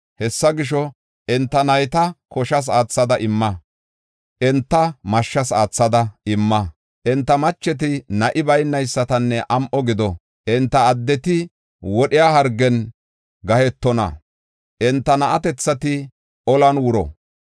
Hessa gisho, enta nayta koshas aathada imma; enta mashshas aathada imma. Enta macheti na7i baynaysatanne am7o gido. Enta addeti wodhiya hargen gahetonna; enta na7atethati olan wuro.